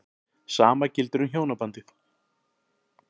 Sama gildir um hjónabandið.